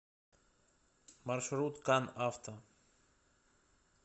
маршрут кан авто